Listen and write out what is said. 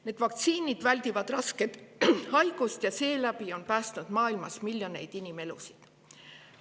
Need vaktsiinid väldivad rasket haigust ja seeläbi on päästnud maailmas miljoneid inimelusid.